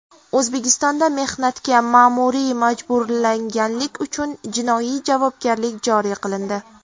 O‘zbekistonda mehnatga ma’muriy majburlaganlik uchun jinoiy javobgarlik joriy qilindi.